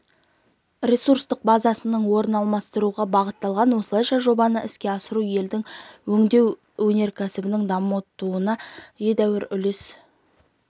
ресурстық базасының орнын алмастыруға бағытталған осылайша жобаны іске асыру елдің өңдеу өнеркәсібінің дамуына едәуір үлес